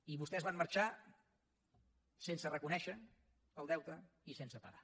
i vostès van marxar sense reconèixer el deute i sense pagar